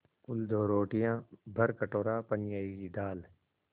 कुल दो रोटियाँ भरकटोरा पनियाई दाल